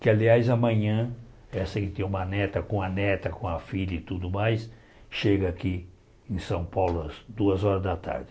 Que, aliás, amanhã, essa que tem uma neta com a neta, com a filha e tudo mais, chega aqui em São Paulo às duas horas da tarde.